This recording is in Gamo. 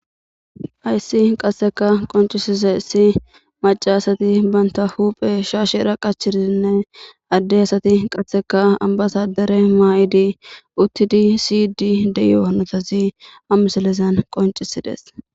Hayssi qassseka qonccisizayssi maca asati bantta huuphen shashera qachidinne adde asati qasseka ambbasadare mayidi uttidi siyidi de'iyo hanotati ha misilezan qonccisidees.